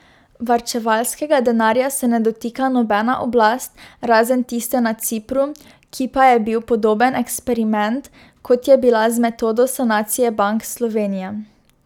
Varčevalskega denarja se ne dotika nobena oblast, razen tiste na Cipru, ki pa je bil podoben eksperiment, kot je bila z metodo sanacije bank Slovenija.